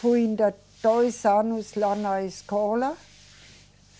Fui ainda dois anos lá na escola.